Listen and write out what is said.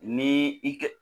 Ni i kɛ